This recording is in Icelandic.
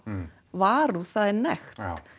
varúð það er nekt já